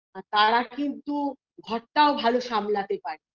তারা কিন্তু ঘরটাও ভালো সামলাতে পারে